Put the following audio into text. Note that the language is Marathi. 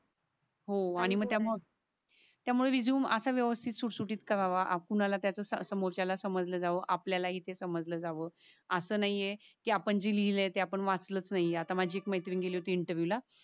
त्यामुळे रेझूमे अस व्यवस्थित सुत सुटीत कारांवा कुणाला त्याच्या समोरच्या ला समाज ला जाव आपल्यालाही ते समजल जाव. अस नाही ये कि आपण जे लिहिलंय ते आपण वाचलाच नाही ये आता माझी एक मैत्रीण गेली होती इंटरव्हिएव ला